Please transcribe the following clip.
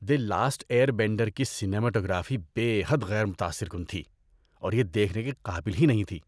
دی Last Airbender کی سنیماٹوگرافی بے حد غیر متاثر کن تھی اور یہ دیکھنے کے قابل ہی نہیں تھی۔